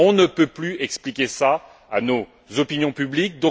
On ne peut plus expliquer cela à nos opinions publiques